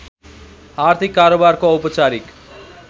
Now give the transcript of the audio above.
आर्थिक कारोबारको औपचारिक